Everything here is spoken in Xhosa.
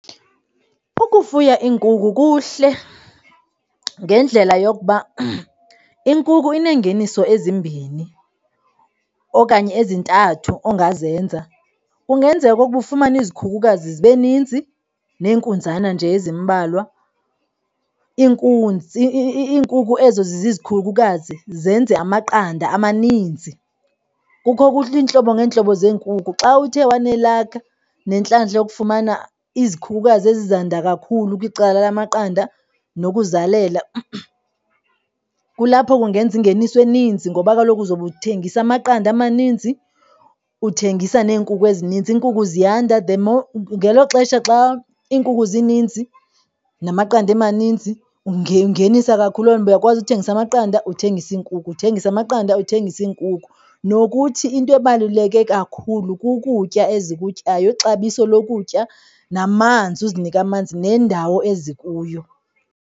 Ukufuya iinkukhu kuhle ngendlela yokuba inkukhu ineengeniso ezimbini okanye ezintathu ongazenza. Kungenzeka okokuba ufumane izikhukukazi zibe ninzi nenkunzana nje ezimbalwa. Iinkukhu ezo zizizikhukukazi zenze amaqanda amaninzi. Kukho iintlobo ngeentlobo zeenkukhu. Xa uthe wanelakha nentlantla yokufumana izikhukhukazi ezi zanda kakhulu kwicala lamaqanda nokuzalela, kulapho ungenza ingeniso eninzi ngoba kaloku uzobe uthengisa amaqanda amaninzi, uthengisa neenkukhu ezininzi. Iinkukhu ziyanda. The more, ngelo xesha xa iinkukhu zininzi namaqanda emaninzi ungenisa kakhulu uyakwazi ukuthengisa amaqanda, uthengise iinkukhu uthengise amaqanda uthengise iinkukhu. Nokuthi into ebaluleke kakhulu kukutya ezikutyayo, ixabiso lokutya namanzi uzinike amanzi nendawo ezikuyo.